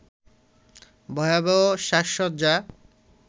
ভয়াবহ সাজসজ্জা